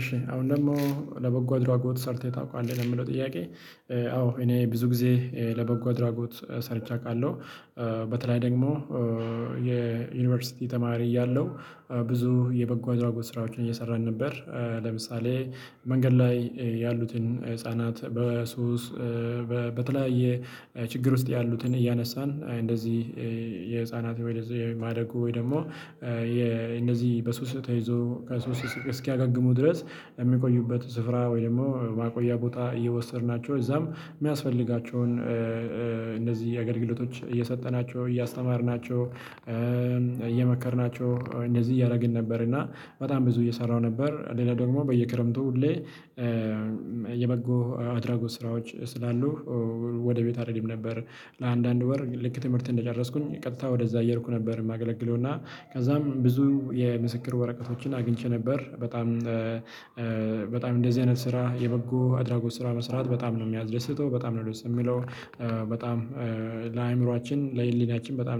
እሺ አሁን ደግሞ ለበጎ አድራጎት ሰርተህ ታውቃለህ ለሚለው ጥያቄ? አዎ እኔ ብዙ ጊዜ ለበጎ አድራጎት ሰርቼ አውቃለሁ። በተለይ ደግሞ የዩኒቨርሲቲ ተማሪ እያለሁ ብዙ የበጎ አድራጎት ስራዎችን እየሰራን ነበር። ለምሳሌ መንገድ ላይ ያሉትን ህፃናት በሱስ በተለያየ ችግር ውስጥ ያሉትን እያነሳን እንደዚህ የህፃናት ወይ የማደጎ ወይ ደግሞ። እነዚህ በሱስ ተይዘው ከሱስ እስኪያገግሙ ድረስ የሚቆዩበት ስፍራ ወይም ደግሞ ማቆያ ቦታ እየወሰድናቸው እዛም የሚያስፈልጋቸውን እንደዚህ የአገልግሎቶች እየሰጠናቸው እያስተማርናቸው እየመከርናቸው እንደዚህ እያደረግን ነበር። እና በጣም ብዙ እየሰራሁ ነበር ሌላ ደግሞ በየክረምቱ ሁሌ የበጎ አድራጎት ስራዎች ስላሉ ወደ ቤት አልሄደም ነበር። ለአንዳንድ ወር ልክ ትምህርት እንደጨረስኩኝ ቀጥታ ወደዛ እየሄድኩ ነበር የማገለግለው እና ከዛም ብዙ የምስክር ወረቀቶችን አግኝቼ ነበር። በጣም በጣም እንደዚህ አይነት ስራ የበጎ አድራጎት ስራ መስራት በጣም ነው የሚያደስተው በጣም ነው ደስ የሚለው። በጣም ለህሊናችን በጣም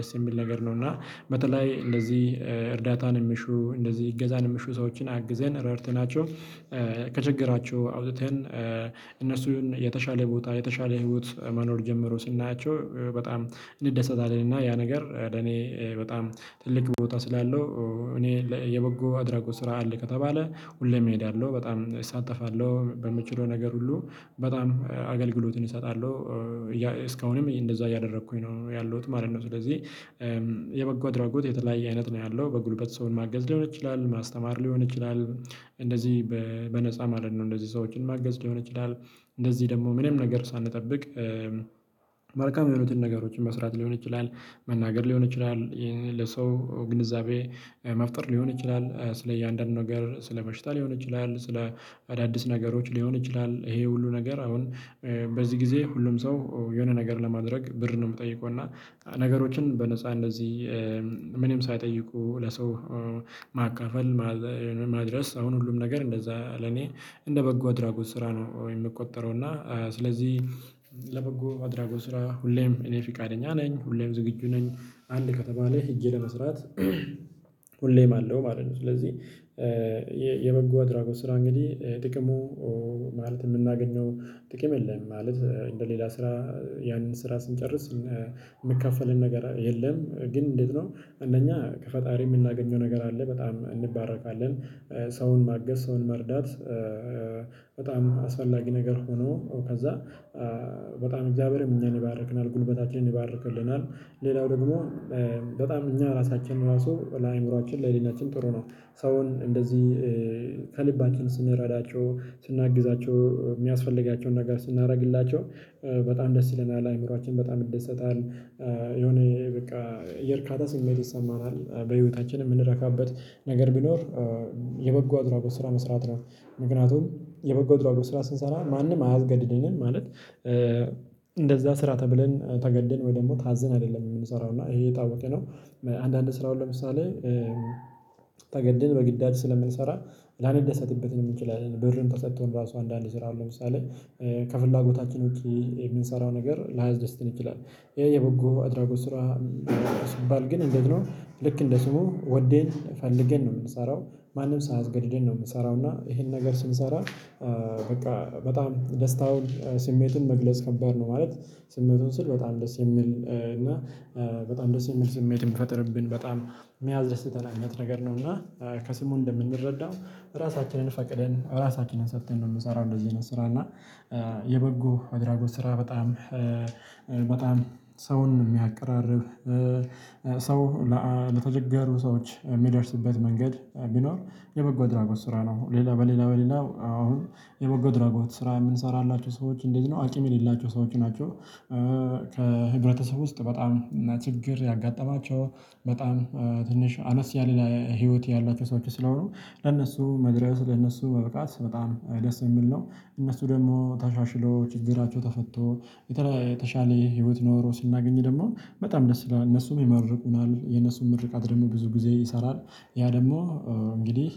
ደስ የሚል ነገር ነው። እና በተለይ እንደዚህ እርዳታን የሚሹ እንደዚህ እገዛን የሚሹ ሰዎችን አግዘን ረድተናቸው ከችግራቸው አውጥተን እነሱን የተሻለ ቦታ የተሻለ ህይወት መኖር ጀምሮ ስናያቸው በጣም እንደሰት አለን። እና እና ያ ነገር ለእኔ በጣም ትልቅ ቦታ ስላለው እኔ የበጎ አድራጎት ስራ አለ ከተባለ ሁሌም እሄዳለሁ በጣም እሳተፋለሁ በምችለው ነገር ሁሉ በጣም አገልግሎትን እሰጣለሁ። እስካሁንም እንደዛ እያደረኩኝ ነው ያለሁት ማለት ነው። ስለዚህ የበጎ አድራጎት የተለያየ አይነት ነው ያለው በጉልበት ሰውን ማገዝ ሊሆን ይችላል ማስተማር ሊሆን ይችላል። እንደዚህ በነፃ ማለት ነው እንደዚህ ሰዎችን ማገዝ ሊሆን ይችላል እንደዚህ ደግሞ ምንም ነገር ሳንጠብቅ መልካም የሆኑትን ነገሮችን መስራት ሊሆን ይችላል። መናገር ሊሆን ይችላል ለሰው ግንዛቤ መፍጠር ሊሆን ይችላል። ስለ እያንዳንዱ ነገር ስለበሽታ ሊሆን ይችላል ስለ አዳዲስ ነገሮች ሊሆን ይችላል። ይሄ ሁሉ ነገር አሁን በዚህ ጊዜ ሁሉም ሰው የሆነ ነገር ለማድረግ ብር ነው የምጠይቀው። እና ነገሮችን በነፃ እንደዚህ ምንም ሳይጠይቁ ለሰው ማካፈል ማድረስ አሁን ሁሉም ነገር እንደዛ ለኔ እንደ በጎ አድራጎት ስራ ነው የምቆጠረው። እና ስለዚህ ለበጎ አድራጎ ስራ ሁሌም እኔ ፊቃደኛ ነኝ ሁሌም ዝግጁ ነኝ። አንድ ከተማ ላይ ሄጄ ለመስራት ሁሌም አለው ማለት ነው። ስለዚህ የበጎ አደራጎት ስራ እንግዲህ ጥቅሙ ማለት የምናገኘው ጥቅም የለም። ማለት እንደ ሌላ ስራ ያንን ስራ ስንጨርስ የሚከፈልን ነገር የለም። ግን እንዴት ነው? እንደኛ ከፈጣሪ የምናገኘው ነገር አለ በጣም እንባረካለን። ሰውን ማገዝ ሰውን መርዳት። አስፈላጊ ነገር ሆኖ ከዛ በጣም እግዚአብሔርም እኛን ይባርክናል ጉልበታችንን ይባርክልናል። ሌላው ደግሞ በጣም እኛ ራሳችን ራሱ ለአእምሮአችን ለህሊናችን ጥሩ ነው። ሰውን እንደዚህ ከልባችን ስንረዳቸው ስናግዛቸው የሚያስፈልጋቸውን ነገር ስናደርግላቸው በጣም ደስ ይለናል አእምሮአችን በጣም ይደሰታል። የሆነ በቃ የእርካታ ስሜት ይሰማናል በህይወታችን የምንረካበት ነገር ቢኖር የበጎ አድራጎት ስራ መስራት ነው። ምክንያቱም የበጎ አድራጎት ስራ ስንሰራ ማንም አያስገድድንም ማለት እንደዛ ስራ ተብለን ተገደድን ወይ ደግሞ ታዝን አይደለም የምንሰራው እና ይሄ የታወቀ ነው። አንዳንድ ስራ አሁን ለምሳሌ ተገደን በግዳጅ ስለምንሰራ ላንደሰትበት እንችላለን ብርም ተሰጥቶን ራሱ አንዳንድ ስራ አሁን ለምሳሌ ከፍላጎታችን ውጪ የምንሰራው ነገር ላያስደስትን ይችላል። ይሄ የበጎ አድራጎት ስራ ስባል ግን እንዴት ነው? ልክ እንደ ስሙ ወዴን ፈልገን ነው የምንሰራው ማንም ሳያስገድደን ነው የምንሰራው እና ይሄን ነገር ስንሰራ በቃ በጣም ደስታውን ስሜቱን መግለጽ ከባድ ነው። ማለት ስሜቱን ስል በጣም ደስ የሚል እና በጣም ደስ የሚል ስሜት ይሚፈጥርብን በጣም የሚያስደስተን አይነት ነገር ነው። እና ከስሙ እንደምንረዳው ራሳችንን ፈቅደን ራሳችንን ሰጥተን ነው እምንሰራው። እንደዚህ አይነት ስራ እና የበጎ አድራጎት ስራ በጣም በጣም ሰውን የሚያቀራርብ ሰው ለተቸገሩ ሰዎች የሚደርስበት መንገድ ቢኖር የበጎ ድራጎት ስራ ነው። ሌላ በሌላ በሌላ አሁን የበጎ ድራጎት ስራ የምንሰራላችሁ ሰዎች እንዴት ነው አቂም የሌላቸው ሰዎች ናቸው? ከህብረተሰብ ውስጥ በጣም ችግር ያጋጠማቸው በጣም ትንሽ አነስ ያለ ህይወት ያላቸው ሰዎች ስለሆኑ ለነሱ መድረስ ለነሱ መብቃት በጣም ደስ የምል ነው። እነሱ ደግሞ ተሻሽሎ ችግራቸው ተፈቶ የተለየ የተሻለ ህይወት ኖሮ ስናገኝ ደግሞ በጣም ደስ ይላል እነሱም ይመርቁናል የነሱም ምርቃት ደግሞ ብዙ ጊዜ ይሰራል። ያ ደግሞ እንግዲህ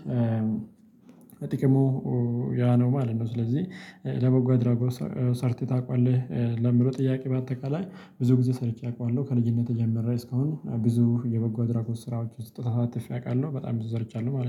ጥቅሙ ያ ነው ማለት ነው። ስለዚህ ለበጎ አድራጎ ሰርተህ ታውቃለህ? ለሚለው ጥያቄ በአጠቃላይ ብዙ ጊዜ ሰርቼ አውቃለሁ ከልጅነቴ ጀምሬ እስካሁን ብዙ የበጎ አድራጎት ስራዎች ተሳትፌ አውቃለሁ በጣም ብዙ ሰርቻለሁ ማለት ነው